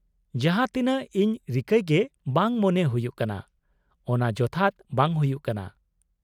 -ᱡᱟᱦᱟᱸ ᱛᱤᱱᱟᱹᱜ ᱤᱧ ᱨᱤᱠᱟᱹᱭ ᱜᱮ ᱵᱟᱝ ᱢᱚᱱᱮ ᱦᱩᱭᱩᱜ ᱠᱟᱱᱟ ᱚᱱᱟ ᱡᱚᱛᱷᱟᱛ ᱵᱟᱝ ᱦᱩᱭᱩᱜ ᱠᱟᱱᱟ ᱾